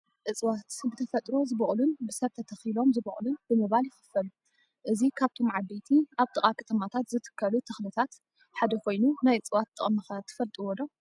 እፅዋት፡- ብተፈጥሮ ዝቦቕሉን ብሰብ ተተኺሎም ዝበቕሉን ብምባል ይኽፈሉ፣ እዚ ካብቶም ዓበይቲ ኣብ ጥቓ ከተማታት ዝትከሉ ተኽሊታት ሓደ ኾይኑ ናይ እፅዋት ጥቕሚ ኸ ትፈልጥዎ ዶ?